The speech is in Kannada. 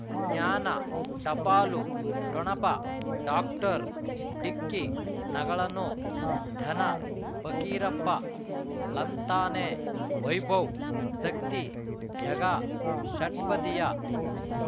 ಜ್ಞಾನ ಟಪಾಲು ಠೊಣಪ ಡಾಕ್ಟರ್ ಢಿಕ್ಕಿ ಣಗಳನು ಧನ ಫಕೀರಪ್ಪ ಳಂತಾನೆ ವೈಭವ್ ಸಕ್ತಿ ಝಗಾ ಷಟ್ಪದಿಯ